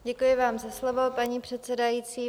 Děkuji vám za slovo, paní předsedající.